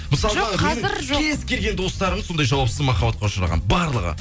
мысалғы кез келген достарым сондай жауапсыз махаббатқа ұшыраған барлығы